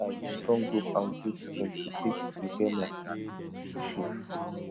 i use strong rope and goat skin to take repair my school shoe